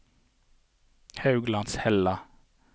Hauglandshella